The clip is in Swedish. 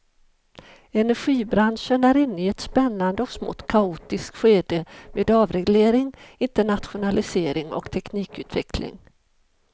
Energibranschen är inne i ett spännande och smått kaotiskt skede med avreglering, internationalisering och teknikutveckling.